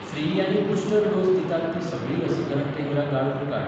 free आनी booster dose दितात तीं सगळीं लसीकरण केंद्रां गाळून काड